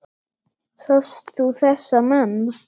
Sást þú þessa menn?